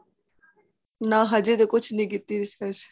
ਨਾ ਅਜੇ ਤੇ ਕੁੱਛ ਨਹੀਂ ਕੀਤੀ ਕੋਈ research